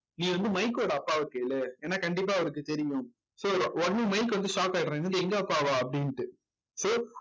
நீ வந்து மைக்கோட அப்பாவைக் கேளு ஏன்னா கண்டிப்பா அவருக்கு தெரியும் so உடனே மைக் வந்து shock ஆயிடுறேன் என்னது எங்க அப்பாவா அப்படின்னுட்டு so